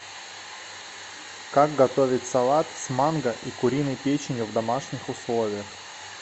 как готовить салат с манго и куриной печенью в домашних условиях